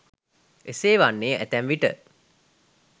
එසේ වන්නේ ඇතැම් විට